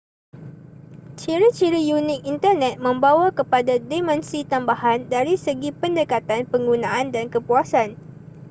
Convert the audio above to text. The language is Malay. ciri-ciri unik internet membawa kepada dimensi tambahan dari segi pendekatan penggunaan dan kepuasan